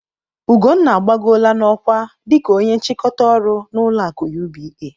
Ugonna agbagoola n'ọkwa dika ónye nchịkọta ọrụ n'ụlọ akụ UBA.